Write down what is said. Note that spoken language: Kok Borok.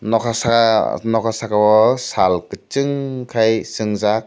nokar saka nokar saka ow saal kuchung khai sungjaak.